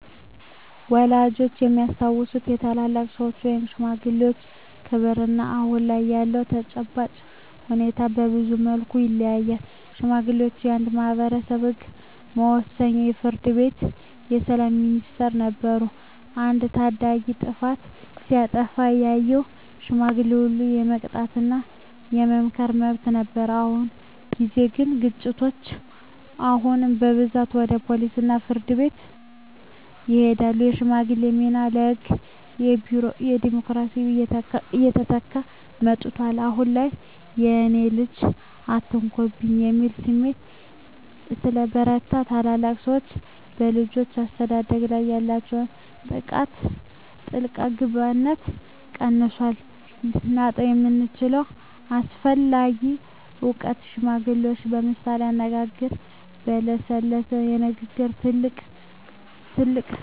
ወላጆቻችን የሚያስታውሱት የታላላቅ ሰዎች (ሽማግሌዎች) ክብርና አሁን ላይ ያለው ተጨባጭ ሁኔታ በብዙ መልኩ ይለያያል። ሽማግሌዎች የአንድ ማኅበረሰብ የሕግ መወሰኛ፣ የፍርድ ቤትና የሰላም ሚኒስቴር ነበሩ። አንድ ታዳጊ ጥፋት ሲያጠፋ ያየው ሽማግሌ ሁሉ የመቅጣትና የመምከር መብት ነበረው። በአሁን ጊዜ ግን ግጭቶች አሁን በብዛት ወደ ፖሊስና ፍርድ ቤት ይሄዳሉ። የሽማግሌዎች ሚና በሕግና በቢሮክራሲ እየተተካ መጥቷል። አሁን ላይ "የእኔን ልጅ አትነካብኝ" የሚል ስሜት ስለበረታ፣ ታላላቅ ሰዎች በልጆች አስተዳደግ ላይ ያላቸው ጣልቃ ገብነት ቀንሷል። ልናጣው የምንችለው አስፈላጊ እውቀት ሽማግሌዎች በምሳሌያዊ አነጋገሮችና በለሰለሰ ንግግር ትልቅ ጠብን የማብረድ ልዩ ችሎታ አላቸው። ይህ "ቃልን የመጠቀም ጥበብ" በትውልድ ቅብብሎሽ ውስጥ ካልገባ ሊጠፋ ይችላል።